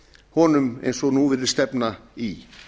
honum eins og nú virðist stefna í